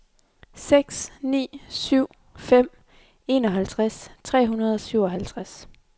seks ni syv fem enoghalvtreds tre hundrede og syvoghalvtreds